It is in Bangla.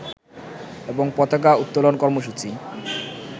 এবং পতাকা উত্তোলন কর্মসূচি